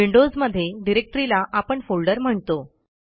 Windows मध्ये डिरेक्टरीला आपण फोल्डर म्हणतो